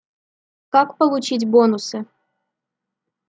как получить бонусы